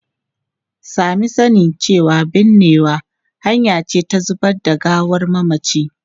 Sami sani cewa binnewa hanya ce ta zubar da gawar mamaci.